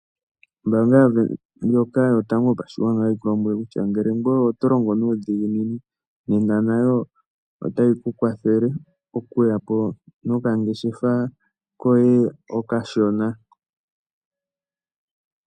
Ombanga ndjoka yotango yopashigwana otayi ku lombwele ngele ngoye otolongo nuudhiginini nena nayo otayi ku kwathele okuyapo nokangeshefa koye okashona.